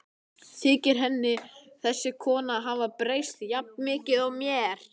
Þykir henni þessi kona hafa breyst jafn mikið og mér?